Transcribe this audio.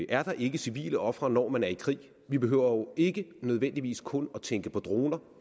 er der ikke civile ofre når man er i krig vi behøver jo ikke nødvendigvis kun at tænke på droner